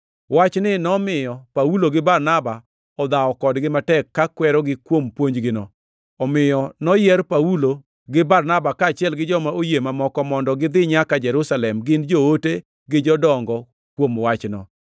Wachni nomiyo Paulo gi Barnaba odhawo kodgi matek ka kwerogi kuom puonjgino. Omiyo noyier Paulo gi Barnaba, kaachiel gi joma oyie mamoko, mondo gidhi nyaka Jerusalem gine joote gi jodongo kuom wachno.